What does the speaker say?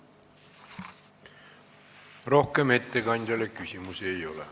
Rohkem ettekandjale küsimusi ei ole.